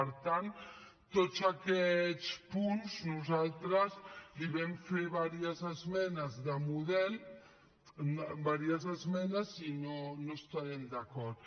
per tant a tots aquests punts nosaltres hi vam fer diverses esmenes de model diverses esmenes i no hi estarem d’acord